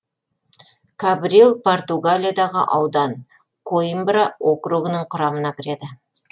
кабрил португалиядағы аудан коимбра округінің құрамына кіреді